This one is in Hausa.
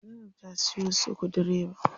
Zainab ta siyo sukudireba.